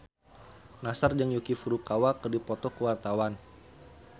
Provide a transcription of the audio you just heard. Nassar jeung Yuki Furukawa keur dipoto ku wartawan